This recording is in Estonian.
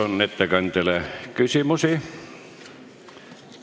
Kas ettekandjale on küsimusi?